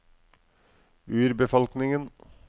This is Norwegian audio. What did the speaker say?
urbefolkningen